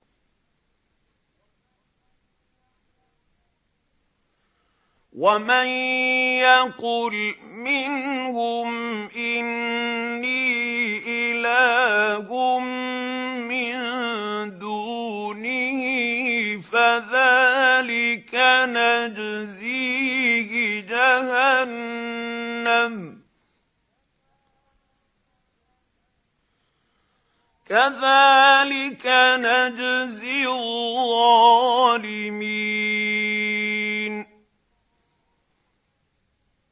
۞ وَمَن يَقُلْ مِنْهُمْ إِنِّي إِلَٰهٌ مِّن دُونِهِ فَذَٰلِكَ نَجْزِيهِ جَهَنَّمَ ۚ كَذَٰلِكَ نَجْزِي الظَّالِمِينَ